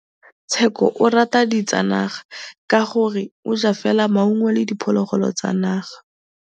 Tshekô o rata ditsanaga ka gore o ja fela maungo le diphologolo tsa naga.